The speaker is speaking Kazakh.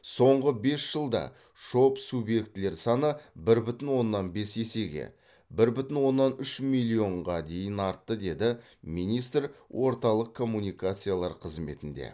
соңғы бес жылда шоб субъектілер саны бір бүтін оннан бес есеге бір бүтін оннан үш миллионға дейін артты деді министр орталық коммуникациялар қызметінде